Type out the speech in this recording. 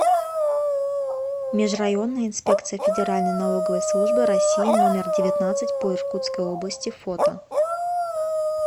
межрайонная инспекция федеральной налоговой службы россии номер девятнадцать по иркутской области фото